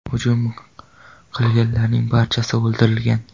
Hujum qilganlarning barchasi o‘ldirilgan.